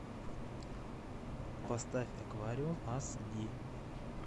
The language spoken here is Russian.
поставь аквариум ас ди